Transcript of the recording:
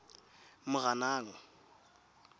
moranang